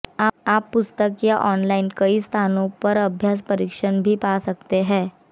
आप पुस्तक या ऑनलाइन कई स्थानों पर अभ्यास परीक्षण भी पा सकते हैं